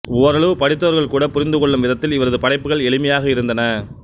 ஓரளவு படித்தவர்கள்கூட புரிந்துகொள்ளும் விதத்தில் இவரது படைப்புகள் எளிமையாக இருந்தன